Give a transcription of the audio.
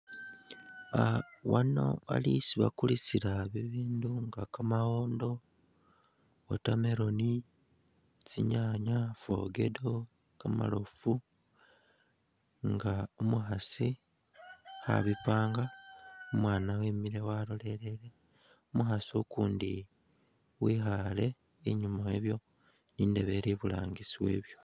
Wano wali isi bakulisila bibindu nga kamaawondo, watermelon ,tsinyaanya ,fogedo ,kamarofu nga umukhaasi koabipanga umwaana wemile walolelele umukhaasi ukundi wikhale inyuma wabyo indebe ili iburangisi wabyo.